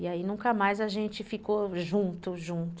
E aí nunca mais a gente ficou junto, junto.